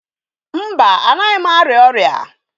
Mba, anaghị m arịa ọrịa.